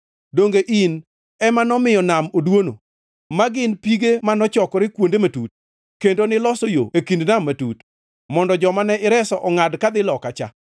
Donge in ema nomiyo nam oduono, ma gin pige mano chokore kuonde matut, kendo niloso yo e kind nam matut mondo joma ne ireso ongʼadi kadhi loka cha?